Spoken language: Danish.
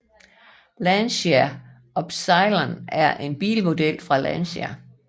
Lancia Ypsilon er en bilmodel fra Lancia